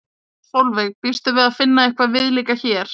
Sólveig: Býstu við að finna eitthvað viðlíka hér?